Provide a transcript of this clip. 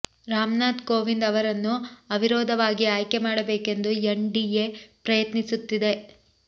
ರಾಮ್ ನಾಥ್ ಕೋವಿಂದ್ ಅವರನ್ನು ಅವಿರೋಧವಾಗಿ ಆಯ್ಕೆ ಮಾಡಬೇಕೆಂದು ಎನ್ ಡಿಎ ಪ್ರಯತ್ನಿಸುತ್ತಿದೆ